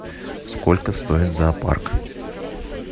сколько стоит зоопарк